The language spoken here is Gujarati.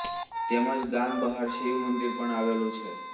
તેમજ ગામ બહાર શિવ મંદિર પણ આવેલું છે